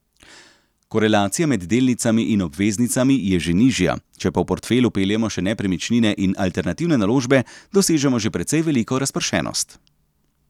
Korelacija med delnicami in obveznicami je že nižja, če pa v portfelj vpeljemo še nepremičnine in alternativne naložbe, dosežemo že precej veliko razpršenost.